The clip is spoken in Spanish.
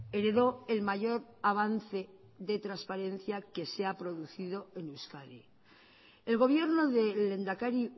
heredó el mayor avance de transparencia que se ha producido en euskadi el gobierno del lehendakari